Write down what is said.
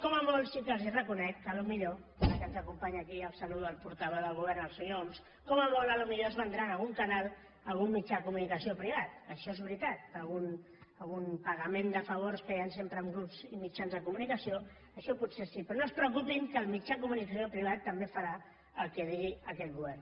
com a molt sí que els reconec que potser ara que ens acompanya aquí i el saludo el portaveu del govern el senyor homs com a molt potser es vendran algun canal a algun mitjà de comunicació privat això és veritat per algun pagament de favors que hi han sempre en grups i mitjans de comunicació això potser sí però no es preocupin que el mitjà de comunicació privat també farà el que digui aquest govern